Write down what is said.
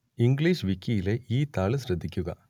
English വിക്കിയിലെ ഈ താൾ ശ്രദ്ധിക്കുക